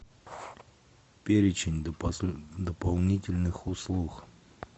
перечень дополнительных услуг